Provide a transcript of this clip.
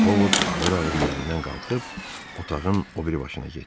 Ovod ağır-ağır yerindən qalxıb otağın o biri başına getdi.